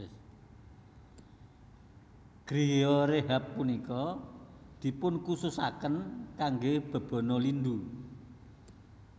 Griyo rehab punika dipunkhususaken kangge bebana lindu